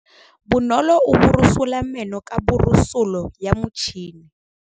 Bonolô o borosola meno ka borosolo ya motšhine.